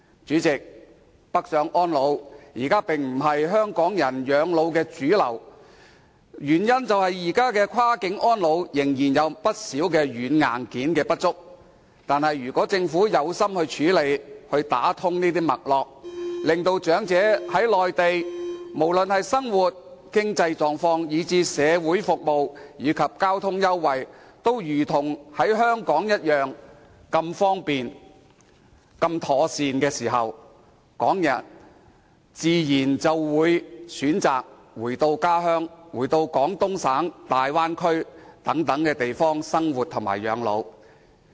主席，北上安老並非現時港人養老的主流選擇，原因是現時就跨境安老，不少軟、硬件仍然不足，但如果政府決心處理，打通脈絡，令長者在內地時，無論生活上、經濟上或是社會服務及交通優惠方面，都感到一切如同在香港，都是一樣方便及妥善，這樣，港人自然會選擇返回家鄉，返回廣東省、大灣區等地生活及養老。